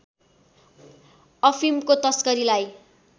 अफिमको तस्करीलाई